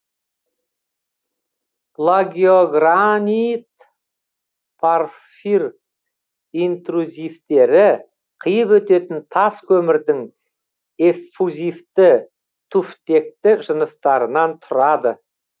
плагиогранит порфир интрузивтері қиып өтетін тас көмірдің эффузивті туфтекті жыныстарынан тұрады